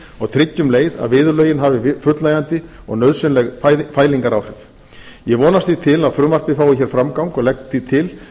og tryggi um leið að viðurlögin hafi fullnægjandi og nauðsynleg fælingaráhrif ég vonast því til að frumvarpið fái hér framgang og legg því til